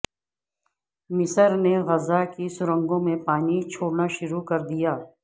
مصر نے غزہ کی سرنگوں میں پانی چھوڑنا شروع کر دیا